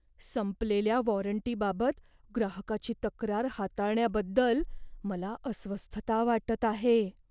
संपलेल्या वॉरंटीबाबत ग्राहकाची तक्रार हाताळण्याबद्दल मला अस्वस्थता वाटत आहे.